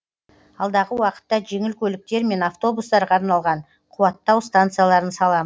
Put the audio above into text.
алдағы уақытта жеңіл көліктер мен автобустарға арналған қуаттау станцияларын саламыз